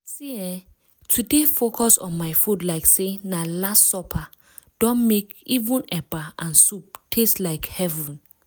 see eh to dey focus on my food like say na last supper don mek even eba and soup taste like heaven.